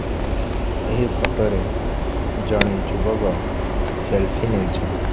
ଏହି ଫୋଟ ରେ ଜଣେ ଯୁବକ ସେଲଫି ନେଇଛନ୍ତି।